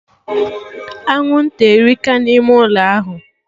Anwụnta erika na ime ụlọ ahụ